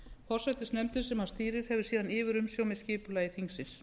forsætisnefndin sem hann stýrir hefur síðan yfirumsjón með skipulagi þingsins